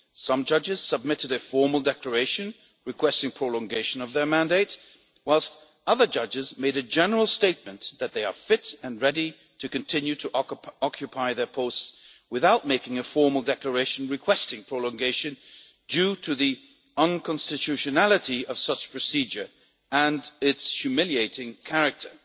Some judges submitted a formal declaration requesting prolongation of their mandate, whilst other judges made a general statement that they are fit and ready to continue to occupy their posts without making a formal declaration requesting prolongation, due to the unconstitutionality of such a procedure and its humiliating character.